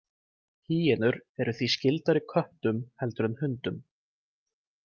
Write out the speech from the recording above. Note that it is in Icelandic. Hýenur eru því skyldari köttum heldur en hundum.